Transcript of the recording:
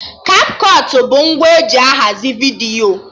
Kapkọt bụ ngwa eji ahazi vidiyo